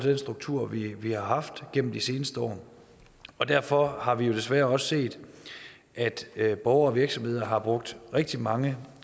den struktur vi vi har haft gennem de seneste år og derfor har vi jo desværre også set at borgere og virksomheder har brugt rigtig mange